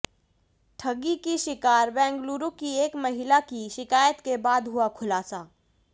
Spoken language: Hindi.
ठगी की शिकार बेंगलुरु की एक महिला की शिकायत के बाद हुआ खुलासा